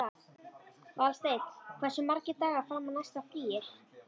Valsteinn, hversu margir dagar fram að næsta fríi?